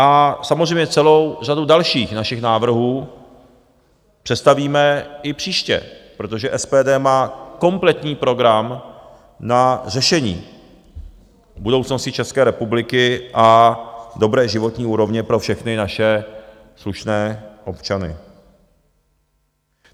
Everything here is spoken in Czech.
A samozřejmě celou řadu dalších našich návrhů představíme i příště, protože SPD má kompletní program na řešení budoucnosti České republiky a dobré životní úrovně pro všechny naše slušné občany.